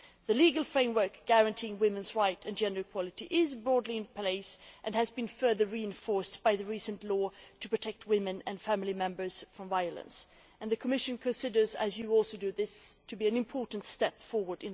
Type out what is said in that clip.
The legal framework guaranteeing women's rights and gender equality is broadly in place and has been further reinforced by the recent law to protect women and family members from violence, and the Commission agrees that this is an important step forward.